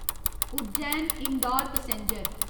Ujjain Indore passenger